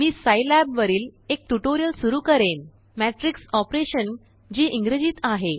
मी सिलाब वरील एकट्यूटोरियल सुरु करेन मैट्रिक्स ऑपरेशनजी इंग्रजीत आहे